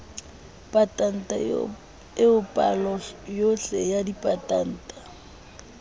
patanta eo paloyohle ya dipatanta